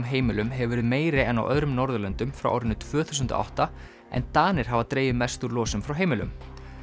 heimilum hefur verið meiri en á öðrum Norðurlöndum frá árinu tvö þúsund átta en Danir hafa dregið mest úr losun frá heimilum